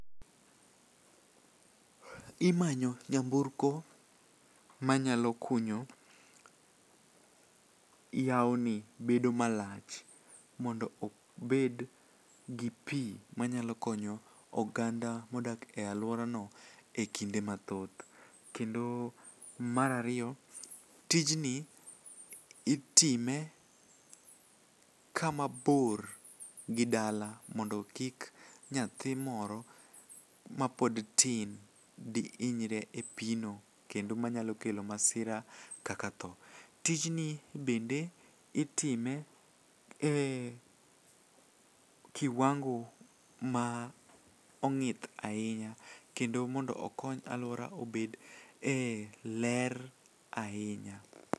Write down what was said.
Imanyo nyamburko manyalo kunyo yaoni bedo malach mondo obed gi pi manyalo konyo oganda modak e alworano e kinde mathoth, kendo mar ariyo, tijni itime kama bor gi dala mondo kik nyathi moro mapod tin dihinyre e pi no kendo manyalo kelo masira kaka tho. Tijni bende itime e kiwango ma ong'ith ahinya kendo mondo okony alwora obed e ler ahinya.